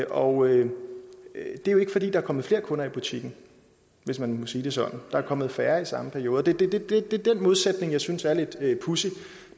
og det er jo ikke fordi der er kommet flere kunder i butikken hvis man må sige det sådan der er kommet færre i samme periode det er den modsætning jeg synes er lidt pudsig